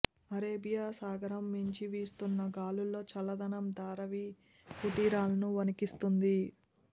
Arabia సాగరం మీంచి వీస్తున్న గాలుల్లో చల్లదనం ధారావి కుటీరాలను వణికిస్తోంది